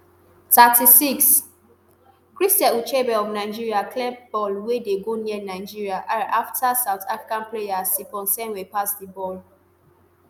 thirty-six christy ucheibe of nigeria clear ball wey dey go near nigeria are afta south african player seponsenwe pass di ball